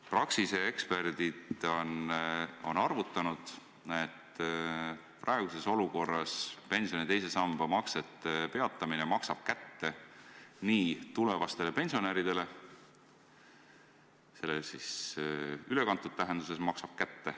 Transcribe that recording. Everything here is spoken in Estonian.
Praxise eksperdid on arvutanud, et praeguses olukorras maksab pensioni teise samba maksete peatamine kätte tulevastele pensionäridele – "maksab kätte" siis ülekantud tähenduses.